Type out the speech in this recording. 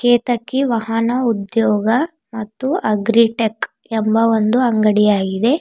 ಕೇತಕಿ ವಾಹನ ಉದ್ಯೋಗ ಮತ್ತು ಅಗ್ರಿಟೆಕ್ ಎಂಬ ಒಂದು ಅಂಗಡಿಯಾಗಿದೆ.